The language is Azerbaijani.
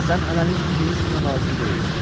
Sən hələlik indi heç kimə lazım deyilsən.